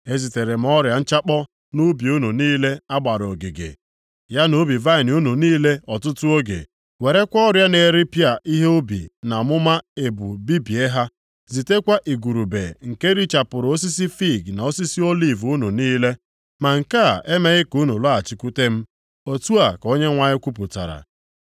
“Ezitere m ọrịa nchakpọ nʼubi unu niile a gbara ogige, ya na ubi vaịnị unu niile, ọtụtụ oge, werekwa ọrịa na-eripịa ihe ubi na ọmụma ebu bibie ha, zitekwa igurube nke richapụrụ osisi fiig na osisi oliv unu niile, ma nke a emeghị ka unu lọghachikwute m.” Otu a ka Onyenwe anyị kwupụtara.